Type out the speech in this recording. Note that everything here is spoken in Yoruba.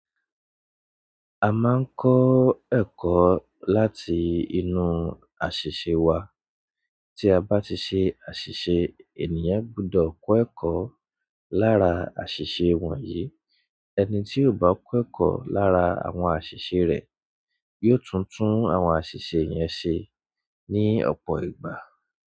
A máa ń kọ́ ẹ̀kọ́ láti inú àṣìṣe wa. Tí a bá ti ṣe àṣìṣe ènìyàn gbudọ̀ kọ́ ẹ̀kọ́ lára àṣìṣe wọ̀nyí. Ẹni tí ò bá kọ́ ẹ̀kọ́ lára àwọn àṣìṣe rẹ̀ yóò tun tun àwọn àṣìṣe yẹn ṣe ní ọ̀pọ̀ ìgbà.